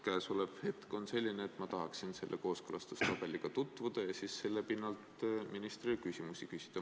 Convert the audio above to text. Käesolev hetk on selline, et ma tahaksin selle kooskõlastustabeliga tutvuda ja siis selle pinnalt ministrile küsimusi esitada.